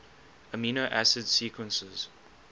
amino acid sequences